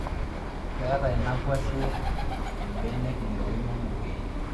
Ketaa ina kwashe mbenek ng'iroin oo mugien